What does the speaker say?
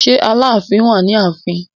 Ṣé Aláàfin wà ní ààfin?